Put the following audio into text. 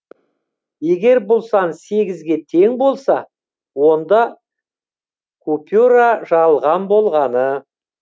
егер бұл сан сегізге тең болса онда купюра жалған болғаны